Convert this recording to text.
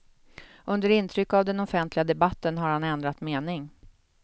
Under intryck av den offentliga debatten har han ändrat mening.